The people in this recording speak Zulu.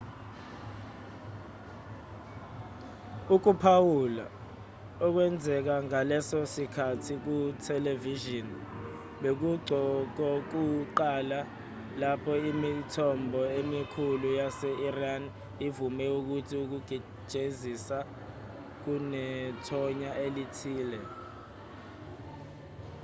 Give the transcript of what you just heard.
ukuphawula okwenzeka ngaleso sikhathi kuthelevishini bekungokokuqala lapho imithombo emikhulu yase-iran ivume ukuthi ukujezisa kunethonya elithile